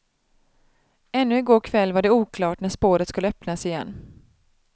Ännu i går kväll var det oklart när spåret skulle öppnas igen.